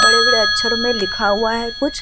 बड़े-बड़े अक्षरो मे लिखा हुआ है कुछ --